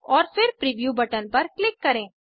और फिर preview button पर क्लिक करें